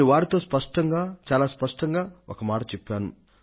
నేను వారితో స్పష్టంగా చాలా స్పష్టంగా ఒక మాట చెప్పాను